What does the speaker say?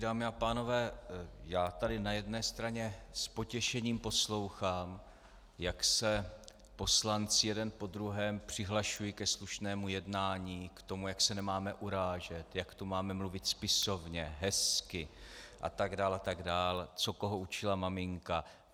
Dámy a pánové, já tady na jedné straně s potěšením poslouchám, jak se poslanci jeden po druhém přihlašují ke slušnému jednání, k tomu, jak se nemáme urážet, jak tu máme mluvit spisovně, hezky atd. atd., co koho učila maminka.